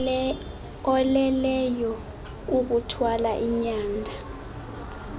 oleleyo kukuthwala inyanda